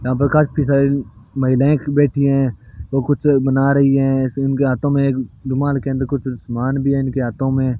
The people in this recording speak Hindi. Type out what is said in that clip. यहां पर काफी सारी महिलाएं बैठी हैं जो कुछ बना रही हैं उनके हाथों एक रूमाल के अंदर कुछ सामान भी है इनके हाथों में।